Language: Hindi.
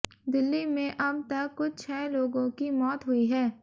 दिल्ली में अब तक कुछ छह लोगों की मौत हुई है